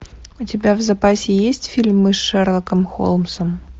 у тебя в запасе есть фильм мы с шерлоком холмсом